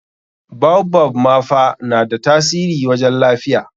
baobab ma fa na da tasiri wajen lafiya.